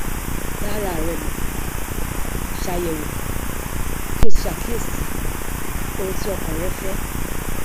dá ara rẹ mọ ṣàyẹwò kí o sì ṣàkíyèsí ohun tí ọkàn rẹ fẹ